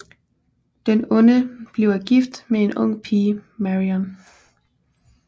Den onde bliver gift med den unge pige Marion